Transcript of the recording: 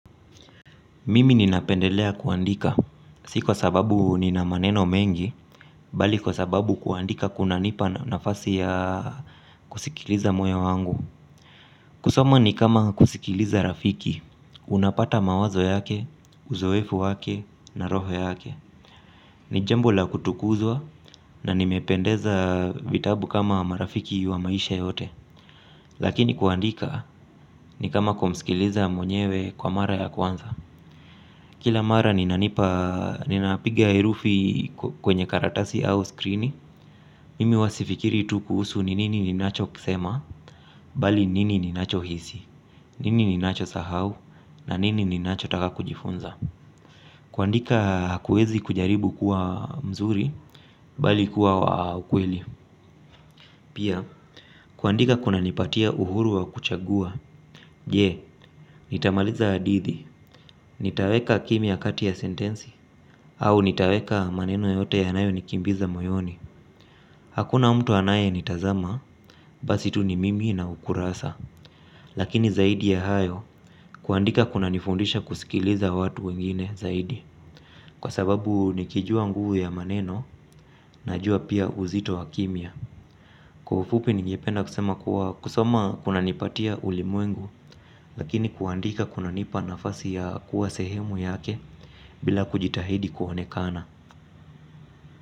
Mimi ninapendelea kuandika, si kwa sababu ninamaneno mengi, bali kwa sababu kuandika kuna nipa nafasi ya kusikiliza moyo wangu. Kusoma ni kama kusikiliza rafiki, unapata mawazo yake, uzoefu wake, naroho yake. Ni jambo la kutukuzwa na nimependeza vitabu kama marafiki wa maisha yote. Lakini kuandika ni kama kumsikiliza mwenyewe kwa mara ya kwanza. Kila mara ninapiga herufi kwenye karatasi au skrini, mimi huwa sifikirii tu kuhusu nini ninacho kisema, bali nini ninacho hisi, nini ninacho sahau, na nini ninacho taka kujifunza. Kuandika hakuwezi kujaribu kuwa mzuri, bali kuwa ukweli. Pia, kuandika kuna nipatia uhuru wa kuchagua. Je, nitamaliza hadithi. Nitaweka kimya kati ya sentensi au nitaweka maneno yote yanayo nikimbiza moyoni. Hakuna mtu anaye nitazama. Basi tu ni mimi na ukurasa. Lakini zaidi ya hayo kuandika kuna nifundisha kusikiliza watu wengine zaidi. Kwa sababu nikijua nguvu ya maneno najua pia uzito wa kimya. Kwa ufupi ningependa kusema kuwa kusoma kuna nipatia ulimwengu. Lakini kuandika kuna nipa nafasi ya kuwa sehemu yake bila kujitahidi kuonekana.